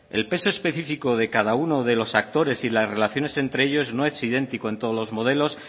el peso específico de cada uno de los actores y las relaciones entre ellos no es idéntico en todos los modelos